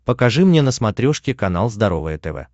покажи мне на смотрешке канал здоровое тв